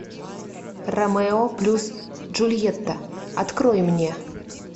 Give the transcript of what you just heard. ромео плюс джульетта открой мне